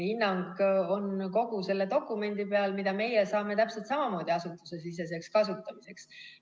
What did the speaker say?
Hinnang on kogu selle dokumendi peal, mida meie saame täpselt samamoodi asutusesiseseks kasutamiseks.